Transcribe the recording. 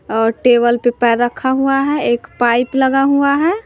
और टेबल पे पैर रखा हुआ हैं एक पाइप लगा हुआ है।